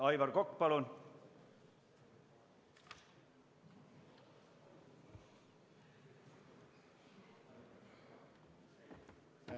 Aivar Kokk, palun!